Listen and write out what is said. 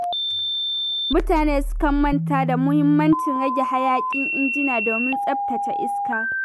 Mutane sukan manta da muhimmancin rage hayaƙin injina domin tsaftace iska.